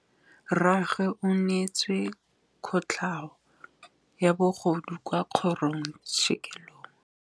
Rragwe o neetswe kotlhaô ya bogodu kwa kgoro tshêkêlông.